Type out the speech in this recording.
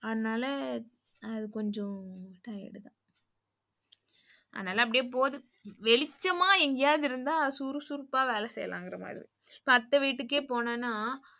ஆனால அது கொஞ்சம் tired தான். அதுனால அப்டியே போது. வெளிச்சம்மா எங்கயாது இருந்தா சுறுசுறுப்பா வேல செய்யலாங்குற மாதிரி. இப்ப அத்த வீட்டுக்கே போனேன்னா,